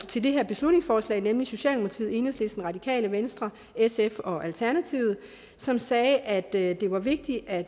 til det her beslutningsforslag nemlig socialdemokratiet enhedslisten radikale venstre sf og alternativet som sagde at det var vigtigt at